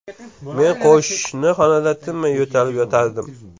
Men qo‘shni xonada tinmay yo‘talib yotardim.